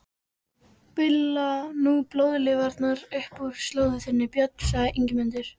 Bulla nú blóðlifrarnar upp úr slóð þinni, Björn, sagði Ingimundur.